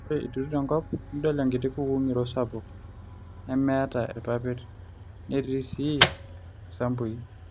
ore iturito enkop nidol enkiti kukuu ng'iro sapuk nemeeta irpapit netii sii isambui